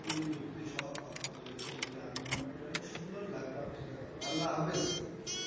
খুবই যুক্তিসহ কথা বলেছেন বলে আমি মনে করি অনেক সুন্দর লাগলো আপনার সাথে কথা বলে আল্লাহ হাফেজ,